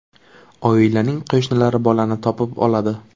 Oilaning qo‘shnilari bolani topib oladi.